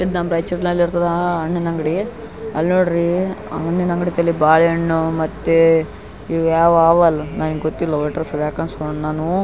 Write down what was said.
ಇದು ನಮ್ಮ್ ರೈಚೂರ್ ನಲ್ಲಿ ಇರೋ ಅಣ್ಣನ ಅಂಗಡಿ ಎಲ್ಲ ನೋಡ್ರಿ ಅಣ್ಣನ ಅಂಗಡಿ ತಲಿ ಬಾಳೆಹಣ್ಣು ಮತ್ತೆ ಇವುಯೆವ ಹಾಲು ನನಗ ಗೊತ್ತಿಲ್ಲ ಒಟ್ಟು --